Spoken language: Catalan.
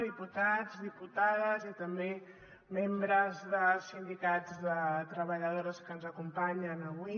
diputats diputades i també membres dels sindicats de treballadores que ens acompanyen avui